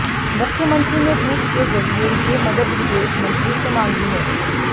मुख्यमंत्री ने ट्वीट के जरिए ये मदद विदेश मंत्री से मांगी है